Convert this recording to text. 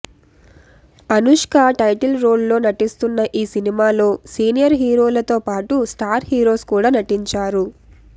Anushka title role లో నటిస్తున్న ఈ సినిమాలో సీనియర్ హీరోలతో పాటు స్టార్ హీరోస్ కూడా నటించారు